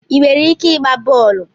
Ị nwere ike ịgba bọọlụ?